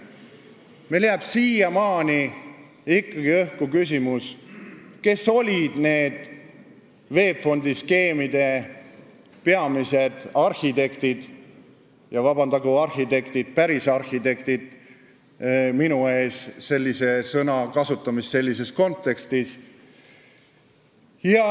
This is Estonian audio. Meil jääb siiamaani ikkagi õhku küsimus, kes olid VEB Fondi skeemide peamised arhitektid – andku päris arhitektid mulle andeks sellise sõna kasutamine sellises kontekstis!